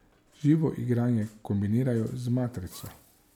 Živo igranje kombinirajo z matrico.